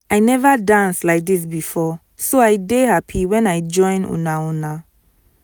i never dance like dis before so i dey happy wen i join una una